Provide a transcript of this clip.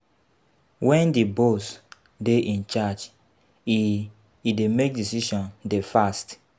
If di boss dey in charge e e dey make decision dey fast